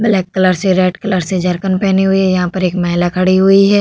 Black colour से red colour से jerkin पहनी हुई है। यहाँ पर एक महिला खड़ी हुई है।